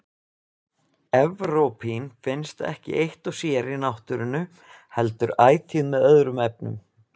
Evrópín finnst ekki eitt og sér í náttúrunni heldur ætíð með öðrum efnum.